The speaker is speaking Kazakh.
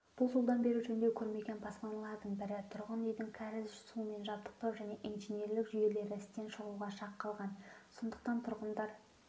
бұл жылдан бері жөндеу көрмеген баспаналардың бірі тұрғын үйдің кәріз сумен жабдықтау және инженерлік жүйелері істен шығуға шақ қалған сондықтан тұрғындар